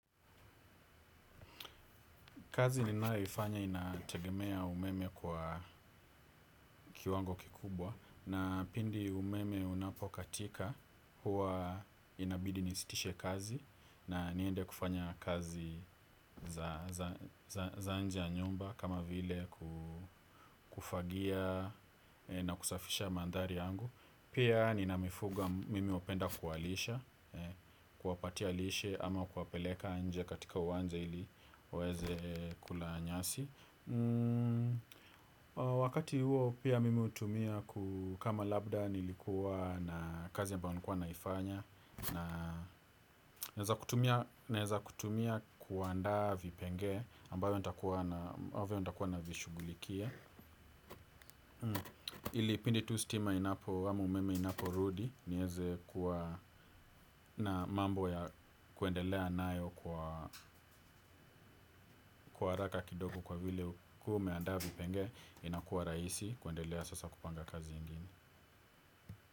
Kazi ninayoifanya inategemea umeme kwa kiwango kikubwa na pindi umeme unapokatika huwa inabidi nisitishe kazi na niende kufanya kazi za za nje ya nyumba kama vile kufagia na kusafisha mandhari yangu. Pia nina mifugo mimi hupenda kuwalisha kuwapatia lishe ama kuwapeleka nje katika uwanja ili waweze kula nyasi. Wakati huo pia mimi hutumia kama labda nilikuwa na kazi ambayo nikuwa naifanya naweza kutumia kuandaa vipengee ambavyo nitakuwa navishughulikia ili pindi tu stima ama umeme inaporudi niweze kuwa na mambo ya kuendelea nayo kwa kwa haraka kidogo kwa vile ukiwa umeandaa vipengee inakuwa rahisi kuendelea sasa kupanga kazi ingine.